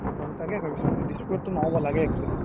তাকে ভাবিছো দিস্পুৰত তো নহ্'ব লাগে actually